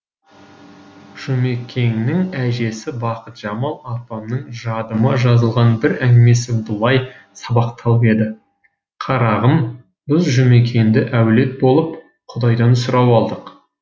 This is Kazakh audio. жұмекеннің әжесі бақытжамал апамның жадыма жазылған бір әңгімесі былай сабақталып еді қарағым біз жұмекенді әулет болып құдайдан сұрап алдық